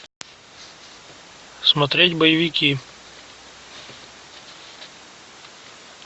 смотреть боевики